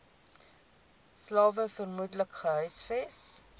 slawe vermoedelik gehuisves